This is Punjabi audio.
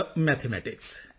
ਮੈਥਮੈਟਿਕਸ